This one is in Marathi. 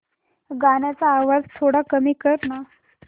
गाण्याचा आवाज थोडा कमी कर ना